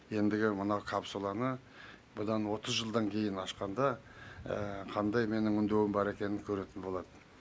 ендігі мына капсуланы бұдан отыз жылдан кейін ашқанда қандай менің үндеуім бар екенін көретін болады